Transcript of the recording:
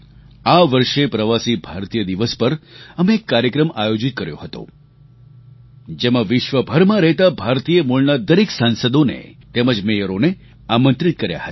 આ વર્ષે પ્રવાસી ભારતીય દિવસ પર અમે એક કાર્યક્રમ આયોજિત કર્યો હતો જેમાં વિશ્વભરમાં રહેતા ભારતીય મૂળના દરેક સાંસદોને તેમજ મેયરોને આમંત્રિત કર્યા હતા